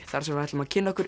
þar sem við ætlum að kynna okkur